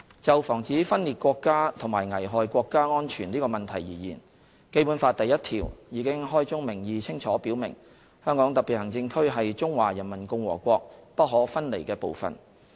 就防止分裂國家及危害國家安全這個問題而言，《基本法》第一條已開宗明義清楚表明，"香港特別行政區是中華人民共和國不可分離的部分"。